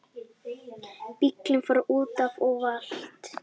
Bíllinn fór útaf og valt